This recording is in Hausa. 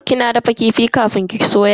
Kina dafa kifi kafin ki soya?